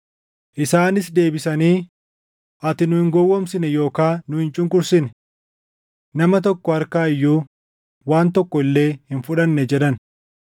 Isaanis deebisanii, “Ati nu hin gowwoomsine yookaan nu hin cunqursine. Nama tokko harkaa iyyuu waan tokko illee hin fudhanne” jedhan.